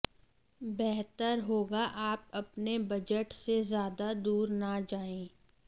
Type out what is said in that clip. बेहतर होगा आप अपने बजट से ज्यादा दूर न जाए